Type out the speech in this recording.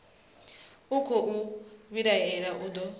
a khou vhilaela u do